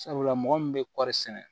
Sabula mɔgɔ min bɛ kɔɔri sɛnɛ